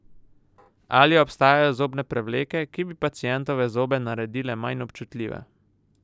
Ali obstajajo zobne prevleke, ki bi pacientove zobe naredile manj občutljive?